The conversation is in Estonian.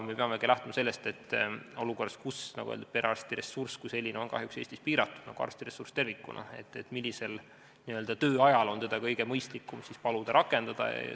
Me peamegi aga lähtuma sellest, et olukorras, kus, nagu öeldud, perearstiressurss kui selline on kahjuks Eestis piiratud, samuti arstiressurss tervikuna, peab mõtlema, millisel tööajal on kõige mõistlikum paluda seda rakendada.